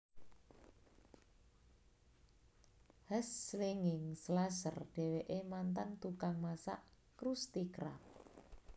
Hash Slinging Slasher Dheweke mantan tukang masak Krusty Krab